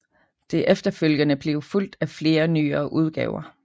Det er efterfølgende blevet fulgt af flere nyere udgaver